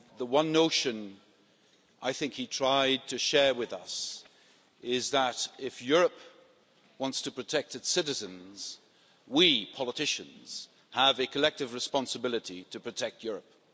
One notion he tried to share with us is that, if Europe wants to protect its citizens, we politicians have a collective responsibility to protect Europe.